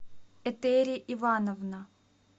этери ивановна